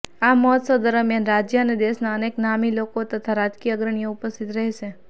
આ મહોત્સવ દરમિયાન રાજ્ય અને દેશના અનેક નામી લોકો તથા રાજકીય અગ્રણીઓ ઉપસ્થિત રહેશે